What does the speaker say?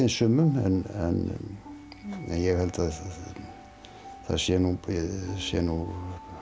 sumum en ég held að það sé nú sé nú